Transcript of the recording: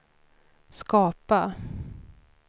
skapa